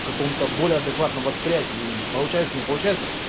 в каком-то более адекватного восприятия и получается не получится